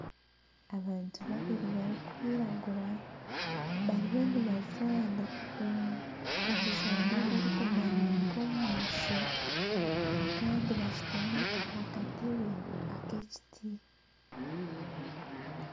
Abantu babiri barikwiragura bariyo nibazaana omuzaano ogurikumanywa nk'omweso Kandi bashutami aha katebe ak'ekiti